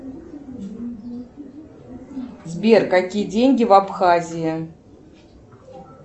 сбер какие деньги в абхазии